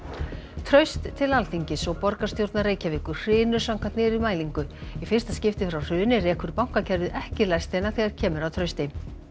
traust til Alþingis og borgarstjórnar Reykjavíkur hrynur samkvæmt nýrri mælingu í fyrsta skipti frá hruni rekur bankakerfið ekki lestina þegar kemur að trausti